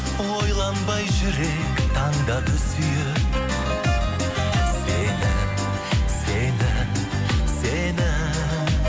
ойланбай жүрек таңдады сүйіп сені сені сені